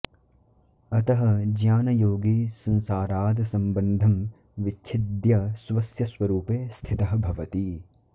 अतः ज्ञानयोगी संसाराद् सम्बन्धं विच्छिद्य स्वस्य स्वरूपे स्थितः भवति